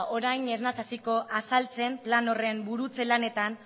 orain ez naiz hasiko azaltzen plan horren burutze lanetan